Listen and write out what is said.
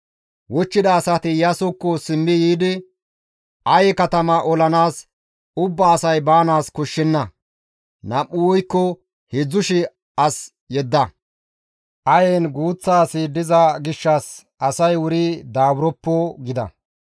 Wochchida asati Iyaasokko simmi yiidi, «Aye katamaa olanaas ubba asay baanaas koshshenna; nam7u woykko heedzdzu shii as yedda; Ayen guuththa asi diza gishshas asay wuri daaburoppo» gida.